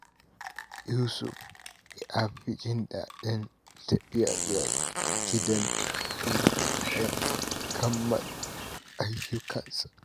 Yusuf ya fi jin daɗin tafiya zuwa gidan hutu bayan kammala ayyukansa.